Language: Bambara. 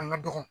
An ka dɔgɔ